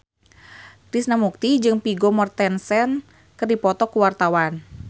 Krishna Mukti jeung Vigo Mortensen keur dipoto ku wartawan